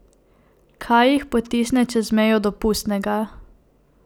Kaj jih potisne čez mejo dopustnega?